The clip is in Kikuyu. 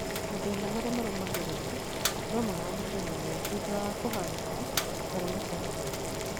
Matĩna marĩa marũmagĩrĩra no mahanĩke mũno thutha wa kũhahũka kana matarania